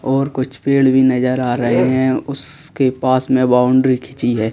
और कुछ पेड़ भी नजर आ रहे हैं उसके पास में बाउंड्री खींची है।